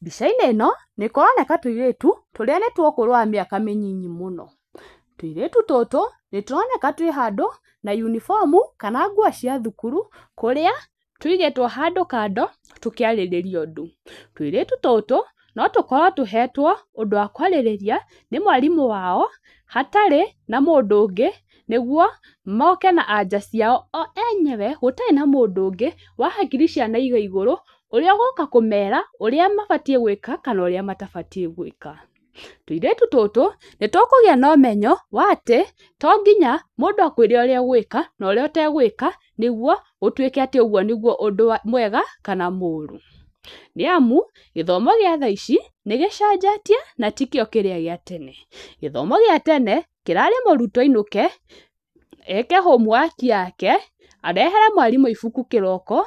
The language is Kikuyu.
Mbica-inĩ ĩno nĩ kũroneka tũirĩtũ tũrĩa nĩ twa ũkũrũ wa mĩaka mĩnini mũno. Tũirĩtu tũtũ nĩ tũroneka twĩ handũ na unibomu kana nguo cia thukuru kũrĩa tũigĩtwo handũ kando tũkĩarĩrĩria ũndũ. Tũirĩtu tũtũ no tũkorwo tũhetwo ũndũ wa kwarĩrĩria, nĩ mwarimũ wao hatarĩ na mũndũ ũngĩ nĩguo moke na anja ciao o enyewe gũtarĩ na mũndũ ũngĩ wa hakiri cia na igaigũrũ ũrĩa ũgũka kũmera ũrĩa mabatiĩ gwĩka kana ũrĩa matabatiĩ gwĩka. Tũirĩtu tũtũ nĩ tũkũgĩa na ũmenyo wa atĩ to nginya mũndũ akwĩre ũrĩa ũgwĩka, no ũrĩa ũtegwĩka nĩguo gũtuĩke atĩ ũguo nĩguo ũndũ mwega kana mũru. Nĩ amu gĩthomo gĩa tha ici nĩ gĩcenjetie na tikĩo kĩrĩa gĩa tene. Gĩthomo gĩa tene kĩrarĩ mũrutwo ainũke, eke homuwaki yake arehere mwarimũ ibuku kĩroko,